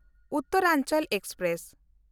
Uttaranchal express